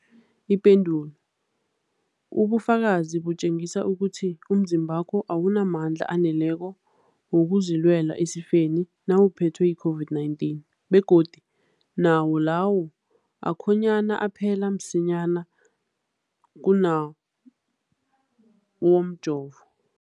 Ipendulo, ubufakazi butjengisa ukuthi umzimbakho awunamandla aneleko wokuzilwela esifeni nawuphethwe yi-COVID-19, begodu nawo lawo akhonyana aphela msinyana kunawomjovo.